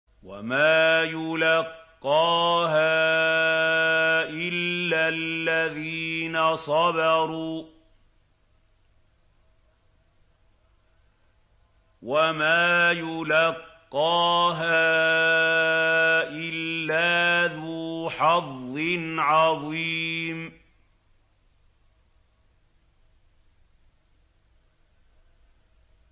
وَمَا يُلَقَّاهَا إِلَّا الَّذِينَ صَبَرُوا وَمَا يُلَقَّاهَا إِلَّا ذُو حَظٍّ عَظِيمٍ